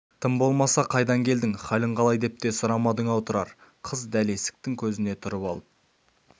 тым болмаса қайдан келдің халің қалай деп те сұрамадың-ау тұрар қыз дәл есіктің көзіне тұрып алып